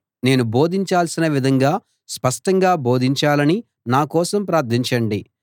నేను బోధించాల్సిన విధంగా స్పష్టంగా బోధించాలని నా కోసం ప్రార్ధించండి